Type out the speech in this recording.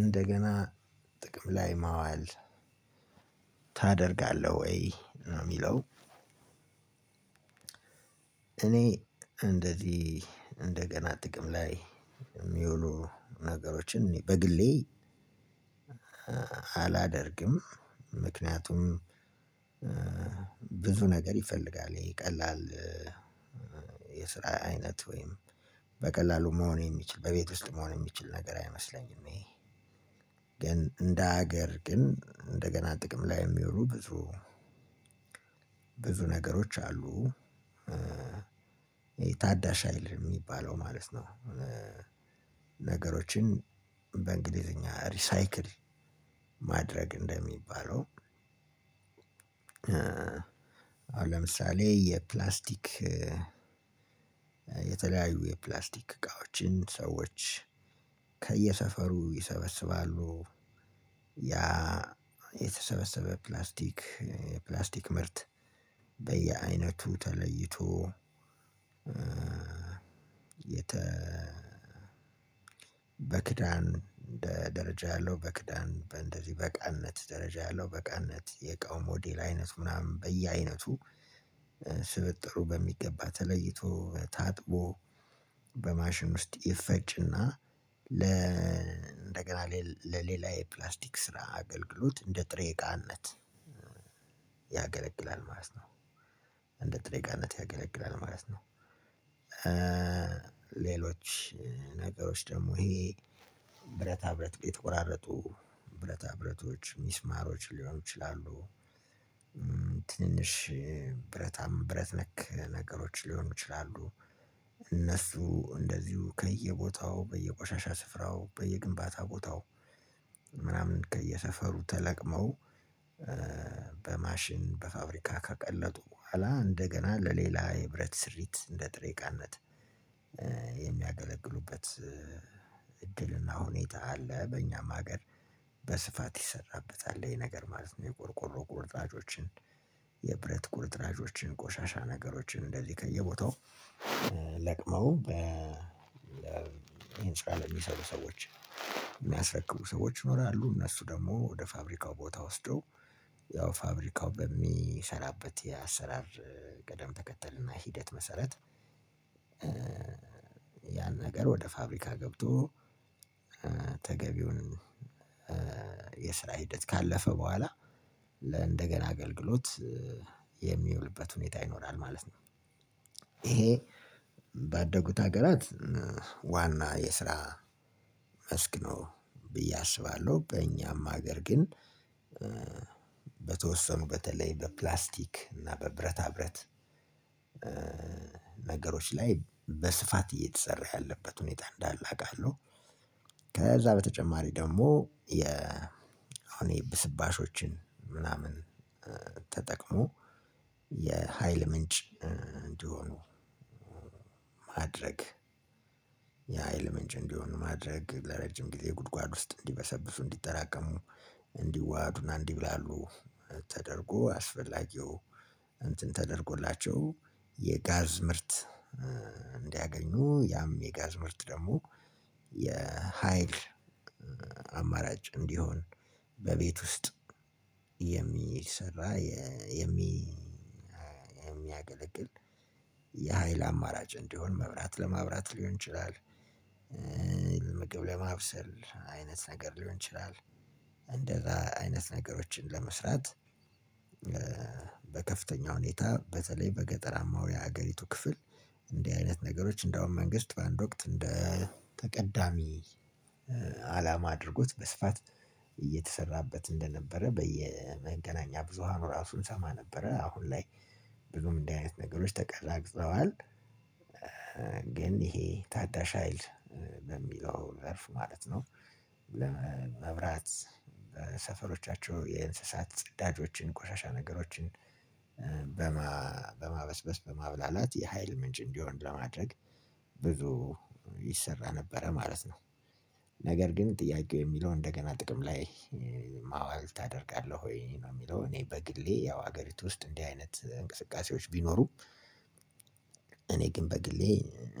እንደገና ጥቅም ላይ ማዋል ታደርጋለህ ወይ ነው የሚለው? እኔ እንደዚህ እንደገና ጥቅም ላይ የሚውሉ ነገሮችን በግሌ አላደርግም። ምክንያቱም ብዙ ነገር ይፈልጋል ይሄ ቀላል የስራ አይነት ወይም በቀላሉ መሆን የሚችል በቤት ውስጥ መሆን የሚችል ነገር አይመስለኝም። ይሄ ግን እንደ ሀገር ግን እንደገና ጥቅም ላይ የሚውሉ ብዙ ነገሮች አሉ ይሄ ታዳሽ ሀይል የሚባለው ማለት ነው። ነገሮችን በእንግሊዘኛ ሪሳይክል ማድረግ እንደሚባለው። አሁን ለምሳሌ የፕላስቲክ የተለያዩ የፕላስቲክ እቃዎችን ሰዎች ከየሰፈሩ ይሰበስባሉ ያ የተሰበሰበ ፕላስቲክ ፕላስቲክ ምርት በየአይነቱ ተለይቶ የተ በክዳን እንደ ደረጃ ያለው በክዳን እንደዚህ በቃነት ደረጃ ያለው በቃነት የቃውም ሞዴል አይነቱ ምናምን በየአይነቱ ስብጥሩ በሚገባ ተለይቶ ታጥቦ በማሽን ውስጥ ይፈጭና ለ ለሌላ የፕላስቲክ ስራ አገልግሎት እንደ ጥሬ እቃነት ያገለግላል ማለት ነው። እንደ ጥሬቃነት ያገለግላል ማለት ነው። ሌሎች ነገሮች ደግሞ ይሄ ብረታ ብረት የተቆራረጡ ብረታ ብረቶች ሚስማሮች ሊሆኑ ይችላሉ ትንሽ ብረታም ብረት ነክ ነገሮች ሊሆኑ ይችላሉ እነሱ እንደዚሁ ከየቦታው በየቆሻሻ ስፍራው በየግንባታ ቦታው ምናምን ከየሰፈሩ ተለቅመው በማሽን በፋብሪካ ካቀለጡ በኋላ እንደገና ለሌላ የህብረት ስሪት እንደ ጥሬቃነት የሚያገለግሉበት እድልና ሁኔታ አለ። በእኛም ሀገር በስፋት ይሰራበታል ይሄነገር ማለት ነው። የቆርቆሮ ቁርጥራጮችን የብረት ቁርጥራጮችን ቆሻሻ ነገሮች እንደዚህ ከየቦታው ለቅመው በ ህንፃ ለሚሰሩ ሰዎች የሚያስረክቡ ሰዎች ይኖራሉ። እነሱ ደግሞ ወደ ፋብሪካው ቦታ ወስዶ ያው ፋብሪካው በሚሰራበት የአሰራር ቅደም ተከተል እና ሂደት መሰረት ያን ነገር ወደ ፋብሪካ ገብቶ ተገቢውን የስራ ሂደት ካለፈ በኋላ እንደገና አገልግሎት የሚውልበት ሁኔታ ይኖራል ማለት ነው። ይሄ ባደጉት ሀገራት ዋና የስራ መስክ ነው ብዬ አስባለሁ። በእኛም ሀገር ግን በተወሰኑ በተለይ በፕላስቲክ እና በብረታ ብረት ነገሮቺ ላይ በስፋት እየተሰራ ያለበት ሁኔታ አንዳለ አቃለሁ። ከዛ በጠቸማር ደግሞ የኃይል ብስባሾቺን ተጠቅሞ የኃይል ምንጭ አንዲሆን ማድረግ የሀይል ምንጭ እንዲሆን ማድረግ ለረጅም ጊዜ ጉድጓድ ውስጥ እንዲበሰብሱ እንዲጠራቀሙ እንዲዋሃዱና እንዲብላሉ ተደርጎ አስፈላጊው እንትን ተደርጎላቸው የጋዝ ምርት እንዲያገኙ ያም የጋዝ ምርት ደግሞ የሀይል አማራጭ እንዲሆን በቤት ውስጥ የሚሰራ የሚ የሚያገለግል የኃይል አማራጭ እንዲሆን መብራት ለማብራት ሊሆን ይችላል። ምግብ ለማብሰል አይነት ሊሆን ይቻላል። አንዲህ አይነት ነገር ለመስራት በከፍተኛ ሁኔታ በተለይ በገጠራማዊ የሀገሪቱ ክፍል እንዲህ አይነት ነገሮች እንደውም መንግስት በአንድ ወቅት እንደ ተቀዳሚ አላማ አድርጎት በስፋት እየተሰራበት እንደነበረ በየመገናኛ ብዙሃኑ ራሱ እንሰማ ነበረ አሁን ላይ ብዙም እንዲህ አይነት ነገሮች ተቀዛቅዘዋል። ግን ይሄ ታዳሽ ሀይል በሚለው ዘርፍ ማለት ነው። ለ መብራት ሰፈሮቻቸው የእንስሳት ጽዳጆችን ቆሻሻ ነገሮችን በማ በማበስበስ በማብላላት የሀይል ምንጭ እንዲሆን ለማድረግ ብዙ ይሰራ ነበረ ማለት ነው። ነገር ግን ጥያቄው የሚለው እንደገና ጥቅም ላይ ማዋል ታደርጋለህ ወይ ነው የሚለው? እኔ በግሌ ያው ሀገሪቱ ውስጥ እንዲህ አይነት እንቅስቃሴዎች ቢኖሩም እኔ ግን በግሌ